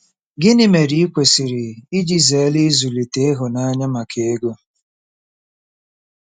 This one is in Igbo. Gịnị mere i kwesịrị iji zere ịzụlite ịhụnanya maka ego?